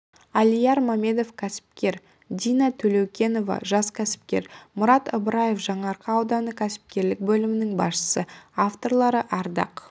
алияр мамедов кәсіпкер дина төлеукенова жас кәсіпкер мұрат ыбыраев жаңаарқа ауданы кәсіпкерлік бөлімінің басшысы авторлары ардақ